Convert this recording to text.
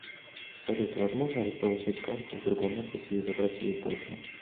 салют возможно ли получить карту в другом офисе и забрать ее позже